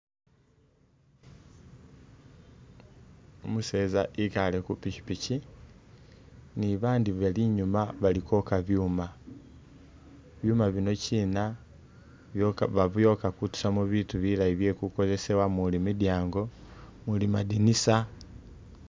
Umuseza ekaale ku pikipiki ni babandi bali inyuuma bali kwoka byuuma. Byuuma binokina byoka babyooka kutusamu bitu bilayi bye kukozesebwa muli midyango, muli madinisa.